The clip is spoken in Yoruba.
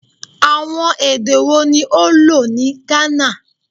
Awọn ede wo ni o lo ni Ghana?